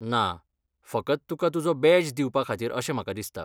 ना, फकत तुका तुजो बॅज दिवपा खातीर अशें म्हाका दिसता.